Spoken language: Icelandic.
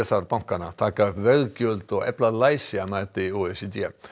þarf bankana taka upp veggjöld og efla læsi að mati o e c d